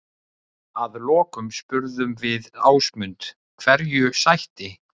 Að lokum spurðum við Ásmund hverju sætti?